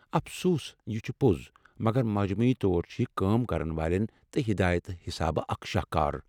افسوس ، یہِ چھٗ پوٚز، مگر مجموعی طور چھِ یہِ كٲم كرن والین تہٕ ہدایتہٕ حِسابہٕ اکھ شاہکار ۔